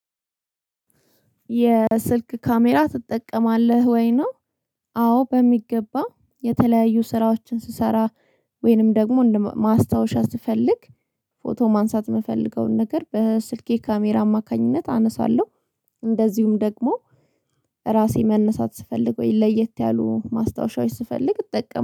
የስልክ ካሜራ ትጠቀማለህ ወይ ነው? አዎ በሚገባ የተለያዩ ስራዎችን ስሰራ ወይንም ደግሞ ማስታወሻ ስፈልግ ፎቶ ማንሳት የምፈልገውን ነገር በስልኬ ካሜራ አማካኝነት አነሳለሁ። እንደዚሁም ደግሞ ራሴ መነሳት ስፈልግ ወይ ለየት ያሉ ማስታወሻዎች ስፈልግ እጠቀም